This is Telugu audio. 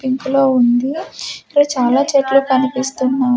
పింకు లో ఉంది ఇక్కడ చాలా చెట్లు కనిపిస్తున్నా--